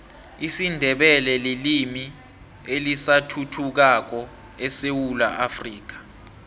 isindebele lilimi elisathuthukako esewula afrika